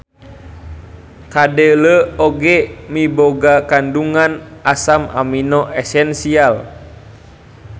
Kadele oge miboga kandungan asam amino esensial.